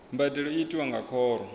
mbadelo i tiwa nga khoro